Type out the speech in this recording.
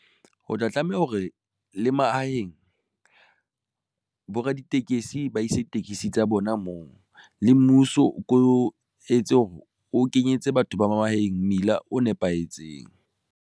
Ho tla tlameha hore le mahaheng bo raditekesi ba ise di tekesi tsa bona moo le mmuso o ko o etse hore o kenyetse batho ba mahaeng, mmila o nepahetseng.